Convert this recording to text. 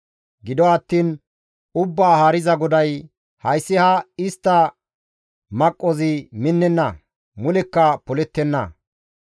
Gido attiin Ubbaa Haariza GODAY, «Hayssi ha istta maqqozi minnenna; mulekka polettenna.